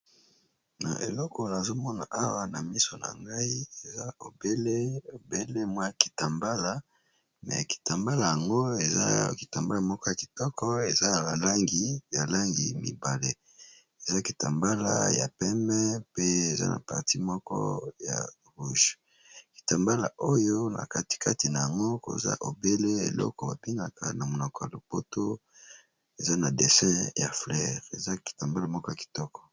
Na eleko nazomona awa na miso na ngai eza bobele bobele mwa kitambala, me kitambala yango eza ya kitambala moko ya kitoko eza ya balangi balangi mibale eza kitambala ya pembe pe eza na parti moko ya rouge, kitambala oyo na katikati na yango koza obele eloko babengaka na monoko ya lopoto eza na dessin ya fleire eza kitambala moko ya kitoko.